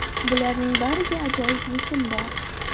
Bularning bariga ajoyib yechim bor!